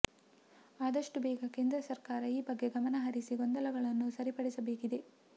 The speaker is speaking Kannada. ಆದಷ್ಟು ಬೇಗ ಕೇಂದ್ರ ಸರ್ಕಾರ ಈ ಬಗ್ಗೆ ಗಮನಹರಿಸಿ ಗೊಂದಲಗಳನ್ನು ಸರಿಪಡಿಸಬೇಕಿದೆ